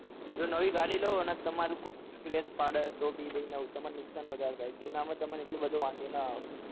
જો નવી ગાડી લઉં અંદ તમારું કોક scrath પડે તો ભી તમાર નુકસાન વધારે થાય જુના માં એટલો બધો તમને વાંધો ના આવે